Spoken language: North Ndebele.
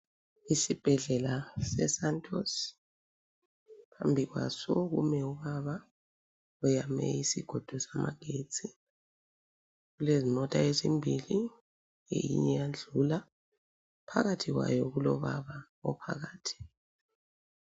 Isibhedlela se Santus, phambi kwaso kumi ubaba oyame isigodo samagetsi. Kulezimota ezimbili enye iyadlula. Phakathi kwayo kulo baba ophakathi.